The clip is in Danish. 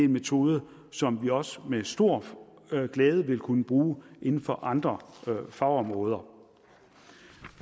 metode som vi også med stor glæde vil kunne bruge inden for andre fagområder